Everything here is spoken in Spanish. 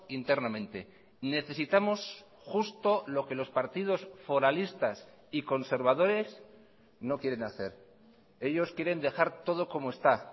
internamente necesitamos justo lo que los partidos foralistas y conservadores no quieren hacer ellos quieren dejar todo como está